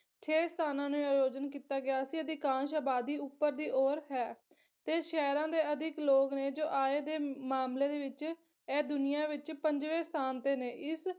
ਛੇ ਸਥਾਨਾਂ ਨੂੰ ਆਯੋਜਨ ਕੀਤਾ ਗਿਆ ਸੀ, ਅਧਿਕਾਂਸ਼ ਅਬਾਦੀ ਉੱਪਰ ਦੀ ਔਰ ਹੈ ਤੇ ਸ਼ਹਿਰਾਂ ਦੇ ਅਧਿਕ ਲੋਕ ਨੇ ਆਏ ਦੇ ਮਾਮਲੇ ਦੇ ਵਿੱਚ ਇਹ ਦੁਨੀਆਂ ਵਿੱਚ ਪੰਜਵੇ ਸਥਾਨ ਤੇ ਨੇ ਇਸ